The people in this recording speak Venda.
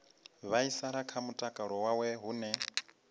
vhaisala kha mutakalo wawe hune